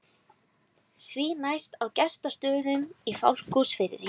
Því næst á Gestsstöðum í Fáskrúðsfirði.